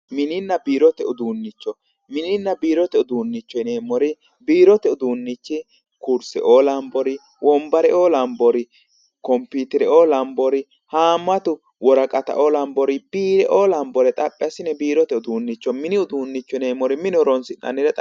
Mininna biirote uduunicho, mininna biirote uduunicho yineemmori, biirote uduunichi kurseo lawinore, wonbareo lawinori, kophitereo lawinori, haamatu worqattao lanbori biireo lanbore xaphi assine biirote uduunichoti, mini uduunicho yineemmori mine horonsi'nannire